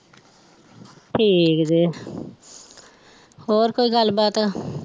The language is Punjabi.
ਠੀਕ ਜੇ ਹੋਰ ਕੋਈ ਗੱਲ ਬਾਤ